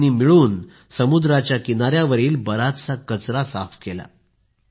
दोघांनी मिळून समुद्राच्या किनाऱ्यावरील बराचसा कचरा साफ केला